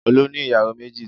Olú ní ìyàwó méjì.